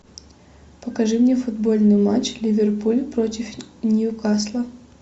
покажи мне футбольный матч ливерпуль против ньюкасла